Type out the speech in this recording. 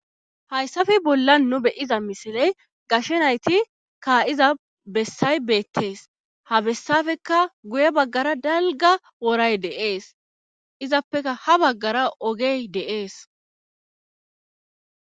Hayssafe bolla nu beyiza misiley gashenayti kaa7iza bessay beettees habessafekka guye baggara dalga woray deees izappeka ha baggara ogey deees